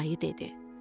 Ayı dedi: